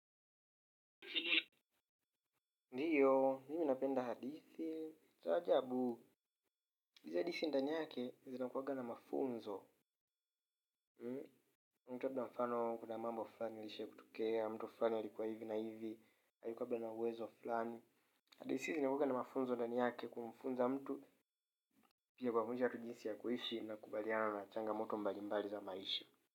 Ndiyo, mimi napenda hadithi cha ajabu, hizi hadithi ndani yake zinakuwanga na mafunzo mtu labda mfano, kuna mambo fulani yalishai kutokea, mtu fulani alikuwa hivi na hivi, alikuwa labda na wezo fulani hadithi zinakuwaga na mafunzo ndani yake kumfunza mtu pia kwa kuwafunza watu jinsi ya kuishi na kukabiliana na changamoto mbalimbali za maisha.